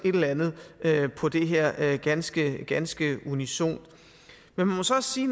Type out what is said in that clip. på det her er ganske ganske unisont jeg må så også sige